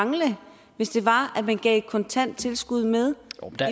mangle hvis man gav et kontant tilskud med